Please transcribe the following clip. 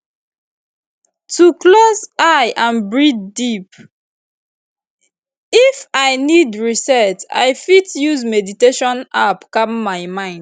if i need reset i fit use meditation app calm my mind